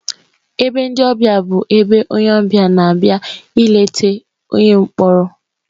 Ebe ndị ọbịa bụ ebe onye ọbịa na-abịa ileta onye mkpọrọ.